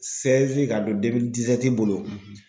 ka don bolo